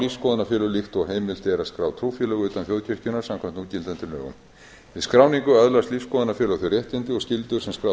lífsskoðunarfélög líkt og heimilt er að skrá trúfélög utan þjóðkirkjunnar samkvæmt núgildandi lögum við skráningu öðlast lífsskoðunarfélög þau réttindi og skyldur sem skráð